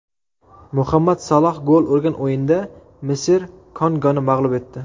Muhammad Saloh gol urgan o‘yinda Misr Kongoni mag‘lub etdi .